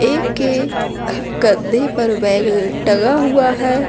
एक के कंधे पर ल बैग टंगा हुआ है।